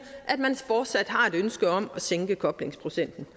at man fortsat har et ønske om at sænke koblingsprocenten